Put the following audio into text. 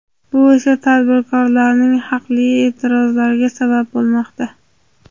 Bu esa tadbirkorlarning haqli e’tirozlariga sabab bo‘lmoqda.